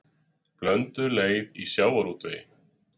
Blönduð leið í sjávarútvegi